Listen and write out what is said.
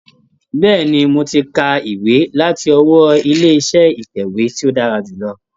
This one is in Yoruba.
Bẹ́ẹ̀ni, mo ti ka ìwé láti ọwọ́ ilé iṣẹ́ itẹ̀wé tí ó dára jùlọ.